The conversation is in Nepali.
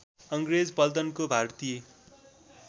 अङ्ग्रेज पल्टनको भारतीय